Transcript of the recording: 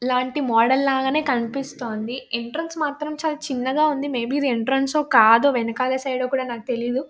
ఇలాంటి మోడల్ లాగానే కనిపిస్తుంది. ఎంట్రెన్స్ మాత్రం చాలా చిన్నగా ఉంది.మేబీ ఇది ఎంట్రెన్స్ హో కాదో వెనకాల సైడ్ ఏమో నాకు తెలియదు.